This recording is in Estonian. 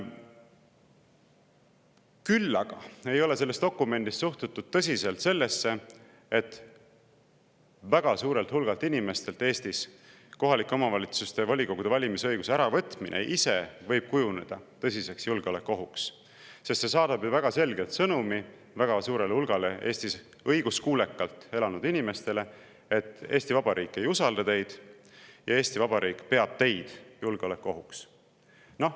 Küll aga ei ole selles dokumendis suhtutud tõsiselt sellesse, et väga suurelt hulgalt inimestelt Eestis kohaliku omavalitsuse volikogu valimise õiguse äravõtmine võib ise kujuneda tõsiseks julgeolekuohuks, sest see saadab ju väga selge sõnumi väga suurele hulgale Eestis õiguskuulekalt elanud inimestele, et Eesti Vabariik ei usalda teid ja Eesti Vabariik peab teid julgeolekuohuks.